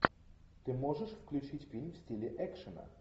ты можешь включить фильм в стиле экшена